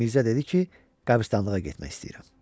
Mirzə dedi ki, qəbirstanlığa getmək istəyirəm.